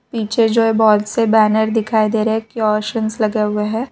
पीछे जो ये बहोत से बैनर दिखाई दे रहे क्योशन्स लगे हुए हैं।